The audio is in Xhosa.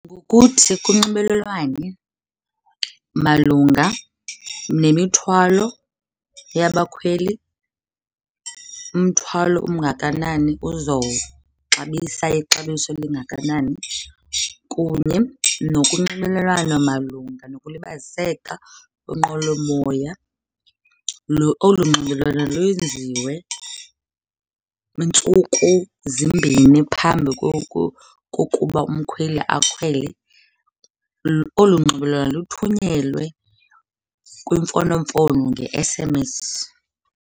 Ngokuthi kunxibelelwane malunga nemithwalo yabakhweli, umthwalo omngakanani uzawuxabisa ixabiso elingakanani kunye nokunxibelelana malunga nokulibaziseka kwinqwelomoya. Olu nxibelelwano lwenziwe ntsuku zimbini phambi kokuba umkhweli akhwele. Olu nxibelelwano luthunyelwe kwimfonomfono nge-S_M_S.